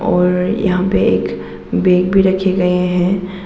और यहां पर एक बैग भी रखे गए हैं।